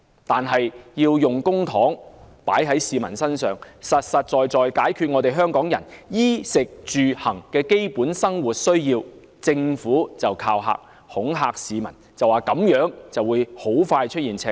但是，當我們要求政府把公帑花在市民身上，實實在在解決香港人衣、食、住、行的基本生活需要時，政府便恐嚇市民，指這樣香港財政很快會出現赤字。